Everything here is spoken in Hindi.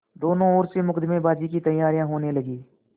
दोनों ओर से मुकदमेबाजी की तैयारियॉँ होने लगीं